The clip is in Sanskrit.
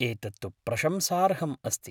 एतत्तु प्रशंसार्हम् अस्ति।